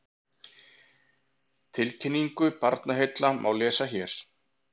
Tilkynningu Barnaheilla má lesa hér